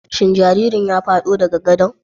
Shin jaririn ya fado daga gadon?